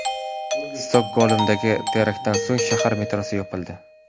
Stokgolmdagi teraktdan so‘ng shahar metrosi yopildi .